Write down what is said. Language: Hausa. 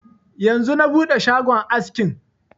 Yanzu na buɗe shagon askin